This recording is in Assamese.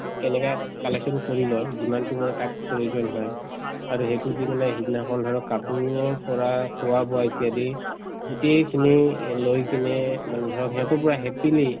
এনেকে collection কৰি লই যিমানতো মানে তাক প্ৰয়োজন হয় আৰু এইটো দি মানে সেইদিনাখন ধৰক কাপোৰৰ পৰা খোৱা-বোৱা ইত্যাদি গোটেইখিনি লৈ কিনে মানে ধৰক সিহঁতো পুৰা happily